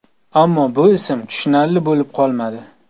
Ammo bu ism tushunarli bo‘lib qolmadi.